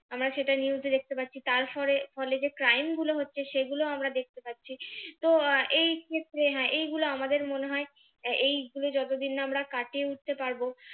আমরা সেটা news এ দেখতে পাচ্ছি তারফলে ফলে যে crime গুলো হচ্ছে সেগুলো আমরা দেখতে পাচ্ছি তো আহ এই ক্ষেত্রে হ্যাঁ এইগুলো আমাদের মনে হয় এই গুলো যতদিন না আমরা কাটিয়ে উঠতে পারবো,